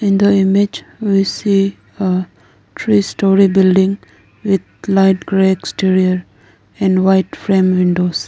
In the image we see a three story building with light grey exterior and white frame windows.